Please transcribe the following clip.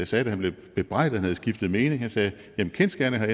sagde da han blev bebrejdet at han havde skiftet mening han sagde jamen kendsgerningerne